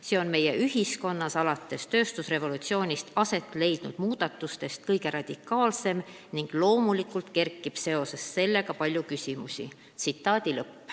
See on meie ühiskonnas alates tööstusrevolutsioonist aset leidnud muudatustest kõige radikaalsem ning loomulikult kerkib sellega seoses palju küsimusi.